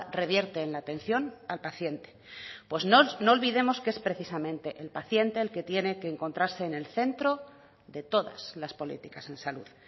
revierte en la atención al paciente pues no olvidemos que es precisamente el paciente el que tiene que encontrarse en el centro de todas las políticas en salud